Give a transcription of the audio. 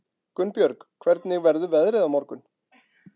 Gunnbjörg, hvernig verður veðrið á morgun?